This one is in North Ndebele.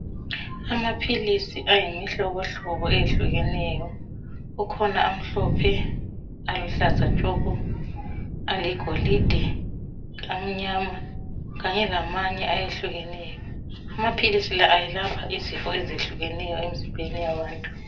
amaphilisi ayimhlohlobo eyehlukeneyo kukhona amhlophe aluhlaza tshoko aligolide amnyama kanye lamanye ayehlukeneyo amaphilisi la ayelapha izifo ezehlukeneyo emzimbeni yabantu